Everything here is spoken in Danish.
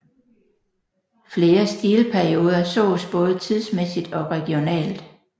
Flere stilperioder sås både tidsmæssigt og regionalt